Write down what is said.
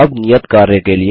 अब नियत कार्य के लिए